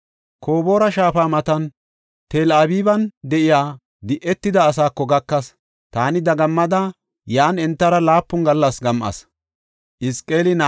Koboora shaafa matan, Tel-Abiban de7iya di7etida asaako gakas. Taani dagammada yan entara laapun gallas gam7as.